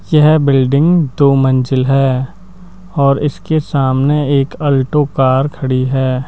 यह बिल्डिंग दो मंजिल है और इसके सामने एक अल्टो कार खड़ी है।